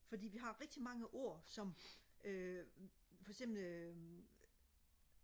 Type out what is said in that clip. fordi vi har rigtig mange ord som øh for eksempel øh